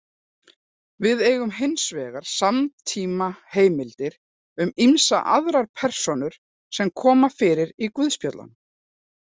Við eigum hins vegar samtímaheimildir um ýmsar aðrar persónur sem koma fyrir í guðspjöllunum.